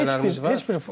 Heç heçələrimiz var.